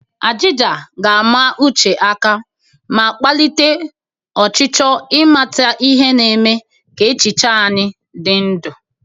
Ajịja ga-ama uche aka ma kpalite ọchịchọ ịmata ihe, na-eme ka echiche anyị dị ndụ.